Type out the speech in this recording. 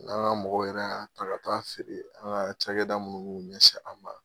N'an ka mɔgɔw yɛrɛ y'a ta ka taa a feere an ka cakɛda munnu mu ɲɛsin a ma.